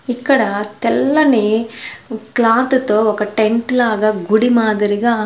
ఇక్కడ తెల్లని క్లాత్ తో ఒక టెంట్ లాగా గుడి మాదిరిగా.